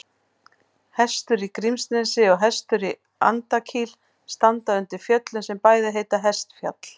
Hestur í Grímsnesi og Hestur í Andakíl standa undir fjöllum sem bæði heita Hestfjall.